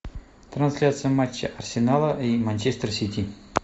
трансляция матча арсенала и манчестер сити